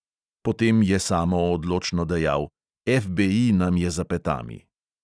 Potem je samo odločno dejal: "FBI nam je za petami."